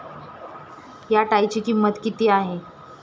या टायची किंमत किती आहे?